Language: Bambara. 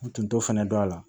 U tun t'o fɛnɛ dɔn a la